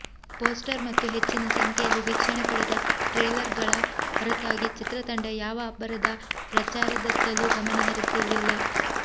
poster ಮತ್ತು ಹೆಚ್ಚಿನ ಸಂಖ್ಯೆಯಲ್ಲಿ ವೀಕ್ಷಣೆ ಪಡೆದ ಟ್ರೇಲರ್ಗಳ ಹೊರತಾಗಿ ಚಿತ್ರತಂಡ ಯಾವ ಅಬ್ಬರದ ಪ್ರಚಾರದತ್ತಲೂ ಗಮನ ಹರಿಸಿರಲಿಲ್ಲ